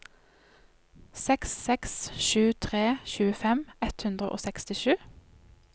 seks seks sju tre tjuefem ett hundre og sekstisju